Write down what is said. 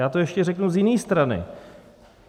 Já to ještě řeknu z jiné strany.